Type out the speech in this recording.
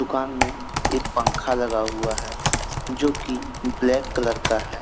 दुकान में एक पंखा लगा हुआ है जो की ब्लैक कलर का है।